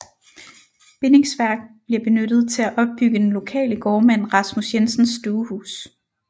Bindingsværk bliver benyttet til at opbygge den lokale gårdmand Rasmus Jensens stuehus